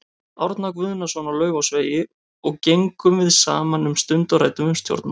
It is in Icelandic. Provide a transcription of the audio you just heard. Árna Guðnason á Laufásvegi og gengum við saman um stund og ræddum um stjórnmál.